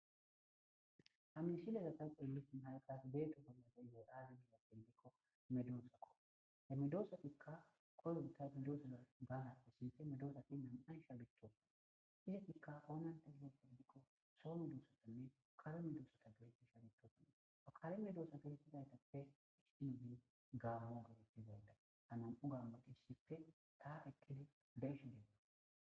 ha misilezata phoyllis mahayqas beeto balate yiheyaara gila pindikko medoossakko he midoossatikka kolob tayfedoosela gaalaissife medoosati nam7ay shaalithopana isetikka oonanta gilo pildikko soonu duossatanne karo midoossata geretti shalithotanne pakalemedoossa gertizaytappe histinubin gaamo gerettizaynda hanam7u gammaqiissife taa ekkidi begsh deeda